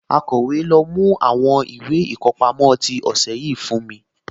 Akọ̀wé, lọ mú àwọn ìwé ìkọpámọ́ tí ọ̀sẹ̀ yìí fún mi?